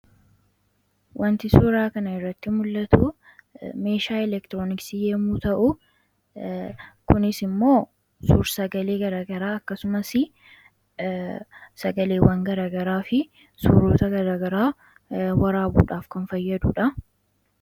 wanti suuraa kana irratti mul'atu meeshaa elektirooniksii yeemuu ta'u kunis immoo suur sagalee garagaraa akkasumas sagaleewwan garagaraa fi suuroota garagaraa waraabuudhaaf kan fayyaduudha